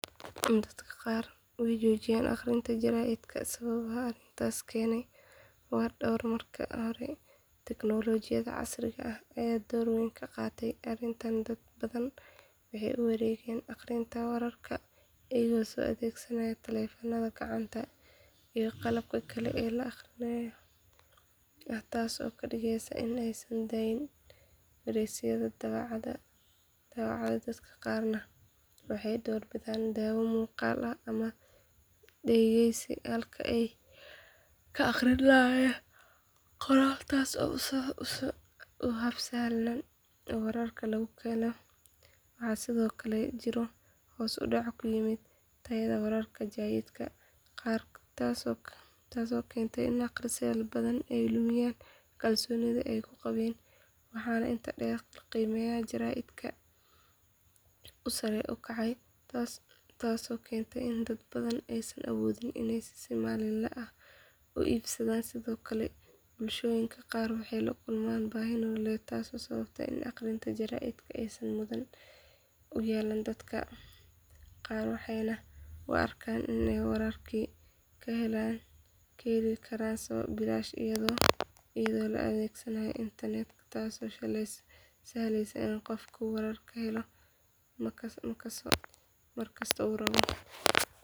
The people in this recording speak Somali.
Dadka qaar way joojiyeen akhrinta jaraa’idka sababaha arrintaas keena waa dhowr marka hore tiknoolajiyada casriga ah ayaa door weyn ka qaadatay arrintan dad badan waxay u wareegeen akhrinta wararka iyaga oo adeegsanaya taleefannada gacanta iyo qalabka kale ee elektaroonigga ah taasoo ka dhigaysa in aysan daneyn wargeysyada daabacan dadka qaarna waxay doorbidaan daawo muuqaal ah ama dhegeysi halkii ay ka akhrin lahaayeen qoraal taas oo ah hab sahlan oo wararka lagu helo waxaa sidoo kale jiro hoos u dhac ku yimid tayada wararka jaraa’idka qaar taasoo keentay in akhristayaal badan ay lumiyaan kalsoonidii ay ku qabeen waxaa intaa dheer in qiimaha jaraa’idka uu sare u kacay taasoo keentay in dad badan aysan awoodin inay si maalinle ah u iibsadaan sidoo kale bulshooyinka qaar waxay la kulmaan baahi nololeed taasoo sababta in akhrinta jaraa’idka aysan mudnaan u yeelan dadka qaar waxayna u arkaan in ay wararkii ka heli karaan bilaash iyadoo la adeegsanayo internet taasoo sahleysa in qofku wararka helo mar kasta oo uu rabo.